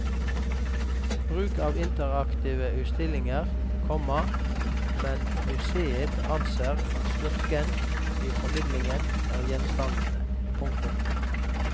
Bruk av interaktive utstillinger, komma men museet anser at styrken i formidlingen er gjenstandene. punktum